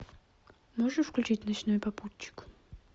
можешь включить ночной попутчик